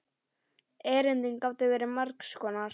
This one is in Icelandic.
Erindin gátu verið margs konar.